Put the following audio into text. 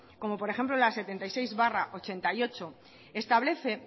como por ejemplo la setenta y seis barra ochenta y ocho establece